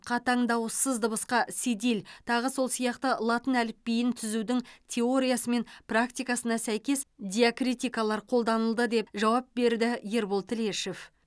қатаң дауыссыз дыбысқа седиль тағы сол сияқты латын әліпбиін түзудің теориясы мен практикасына сәйкес диакритикалар қолданылды деп жауап берді ербол тілешов